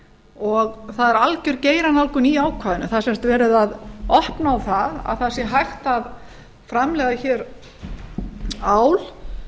og það er alger geiranálgun í ákvæðinu það er sem sagt verið að opna á að það sé hægt að framleiða ál